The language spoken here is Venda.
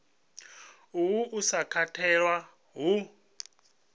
uhu u sa katelwa hu